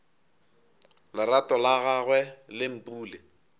lerato la gagwe le mpule